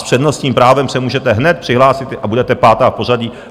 S přednostním právem se můžete hned přihlásit a budete pátá v pořadí.